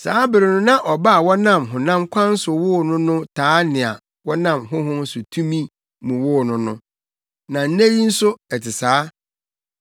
Saa bere no na ɔba a wɔnam honam kwan so woo no no taa nea wɔnam Honhom no tumi mu woo no no. Na nnɛ yi nso ɛte saa.